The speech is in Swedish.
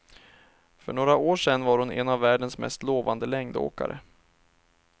För några år sen var hon en av världens mest lovande längdåkare.